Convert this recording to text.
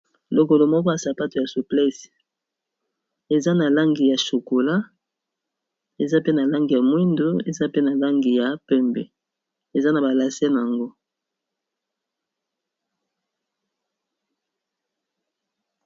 Lokolo moko ya sapatu ya souplece eza na langi ya chokola, eza pe na langi ya mwindo, eza pe na langi ya pembe, eza na ba lase na yango.